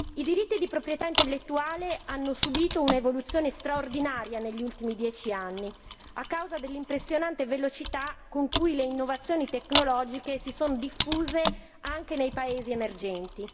I diritti di proprietà intellettuale hanno subito un'evoluzione straordinaria negli ultimi dieci anni, a causa dell'impressionante velocità con cui le innovazioni tecnologiche si sono diffuse, anche nei paesi emergenti.